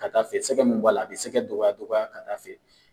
Ka taa fɛ sɛgɛn mun b'a la a bi sɛgɛn dɔgɔya dɔgɔya ka taa fɛ